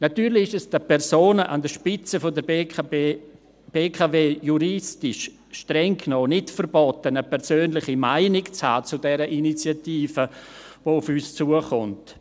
Natürlich ist es den Personen an der Spitze der BKW streng genommen juristisch nicht verboten, eine persönliche Meinung zu dieser Initiative zu haben, die auf uns zukommt.